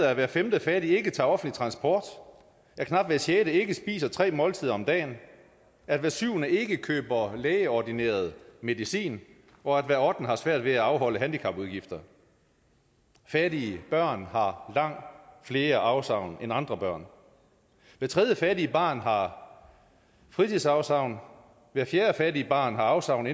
at hver femte fattige ikke tager offentlig transport at knap hver sjette ikke spiser tre måltider om dagen at hver syvende ikke køber lægeordineret medicin og at hver ottende har svært ved at afholde handicapudgifter fattige børn har langt flere afsavn end andre børn hvert tredje fattige barn har fritidsafsavn hvert fjerde fattige barn har afsavn